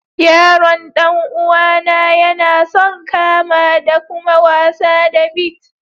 Yaron dan uwa na, ya na son kama da kuma wasa da beets.